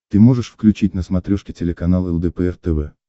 ты можешь включить на смотрешке телеканал лдпр тв